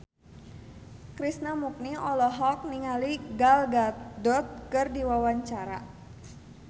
Krishna Mukti olohok ningali Gal Gadot keur diwawancara